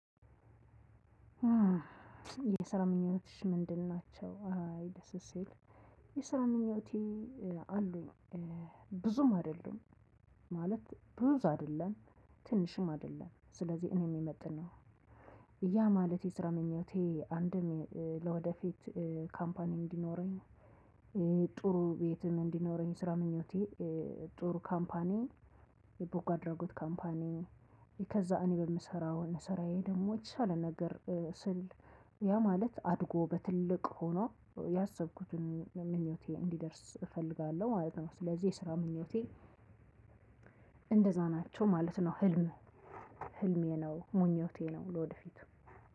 የስራ ምኞትሽ ምንድን ናቸው አይ ደስ ስል የሰራ ምኞቼ አሉኝ፤ ብዙም አይደሉም፣ ማለት ብዙ አይደለም፣ ትንሽም አይደለም። ስለዚህ እኔም የምመጥነው ያ ማለት የስራ ምኞቴ አንድም ለወደፊት ካምፓኒ እንዲኖረኝ ጥሩ ቤትም እንዲኖረኝ ስራ ምኞቴ ጥሩ ካምፓኒ የበጎ አድራጎት ካምፓኒ ከዚያ እኔ በምሰራው ስራዬ ደግሞ የተሻለ ነገር ስል ያ ማለት አድጎ በትልቅ ሆኖ ያሰብኩትን ምኞቴ እንዲደርስ እፈልጋለሁ ማለት ነው። ስለዚህ የስራ ምኞቴ እንደዛ ናቸው ማለት ነው ህልም ህልሜ ነው ምኞቴ ነው ለወደፊት